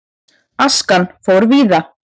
Askan fór víða.